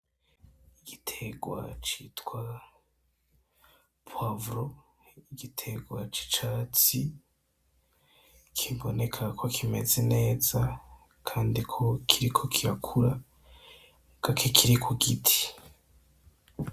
igitegwa citwa poivro igitegwa c'icatsi kibonekako kimeze neza Kandi ko kiriko kirakura muga kikiri kugiti.